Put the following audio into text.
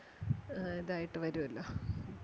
ആ ഇതായിട്ട് വരുവല്ലോ.